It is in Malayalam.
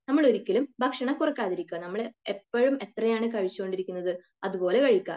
നമ്മൾ ഒരിക്കലും ഭക്ഷണം കുറക്കാതിരിക്കുക നമ്മൾ എപ്പോഴും എത്രയാണ് കഴിച്ചുകൊണ്ടിരിക്കുന്നത് അതുപോലെ കഴിക്കുക